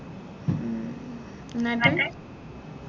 ഉം എന്നിട്ട്